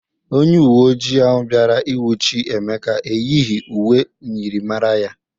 Onye uweojịi ahụ bịara inwụchɨ Emeka eyighi uwe myịrịmara ya.